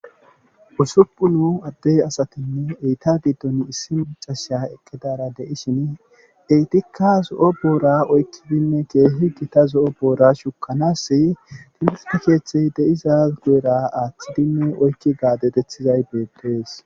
Usuppun adde asatinne eeta giddon issi maccashiya eqqidaara de7ishini eetikka zo7o boora oykkididinne keehi gita zo7o bopra shukkanaasse timirtte keethay de7iza guyera aathidinne oykki gaadezethiday beettees.